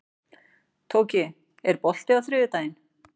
Tóki, er bolti á þriðjudaginn?